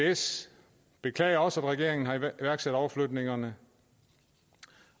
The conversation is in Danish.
avs beklager også at regeringen har iværksat overflytningerne